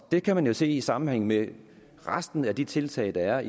det kan man jo se i sammenhæng med resten af de tiltag der